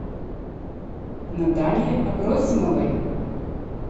наталье абросимовой